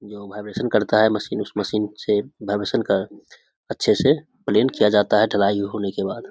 जो वाइब्रेशन करता है मशीन उ मशीन से वाइब्रेशन कर अच्छे से प्लेन किया जाता है ढलाई होने के बाद |